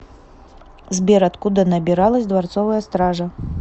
сбер откуда набиралась дворцовая стража